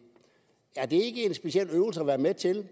er det ikke en speciel øvelse at være med til